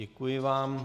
Děkuji vám.